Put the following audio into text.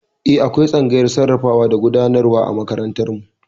Eh, akwai tsangayar sarrafawa da gudanarwa a makarantar mu